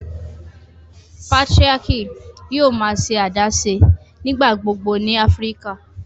Patriarchy yòò má ṣe adaṣe nigbagbogbo ní Áfíríkà.